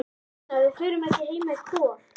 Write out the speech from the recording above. Pína, við förum ekki heim með Kol.